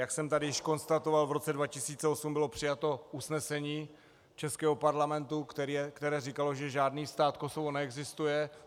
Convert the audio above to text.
Jak jsem tady již konstatoval, v roce 2008 bylo přijato usnesení českého parlamentu, které říkalo, že žádný stát Kosovo neexistuje.